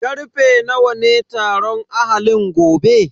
Karfe nawa ne taron ahalin gobe?